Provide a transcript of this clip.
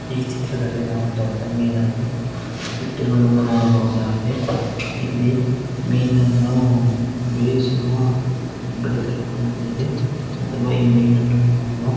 ಈ ಚಿತ್ರದಲ್ಲಿ ನಾವು ದೊಡ್ಡ ಮೀನನ್ನು ಇಟ್ಟಿರುವುದನ್ನು ನೋಡಬಹುದಾಗಿದೆ ಇಲ್ಲಿ ಮೀನನ್ನು ಬೇಯಿಸುವ ಅಂಗಡಿ ತರ ಕಾಣುತ್ತಿದೆ ಅಥವಾ ಈ ಮೀನನ್ನು ಮಾರುವ_